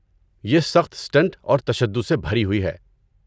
یہ سخت اسٹنٹ اور تشدد سے بھری ہوئی ہے۔